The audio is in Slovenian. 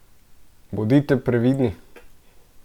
Bodite previdni!